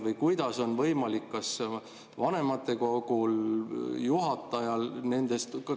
Või kuidas on võimalik kas vanematekogul või juhatajal …?